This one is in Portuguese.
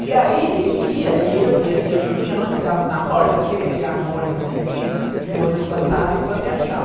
E aí, ele ia, e eu ia, e a Julinha, nós ficávamos na porta, porque ele pegava o ônibus na esquina, e o ônibus passava e ele fazia tchau.